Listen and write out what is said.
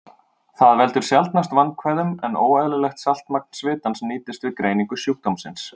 Það veldur sjaldnast vandkvæðum, en óeðlilegt saltmagn svitans nýtist við greiningu sjúkdómsins.